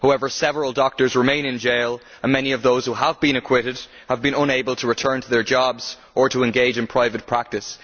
However, several doctors remain in jail and many of those who have been acquitted have been unable to return to their jobs or to engage in private practice.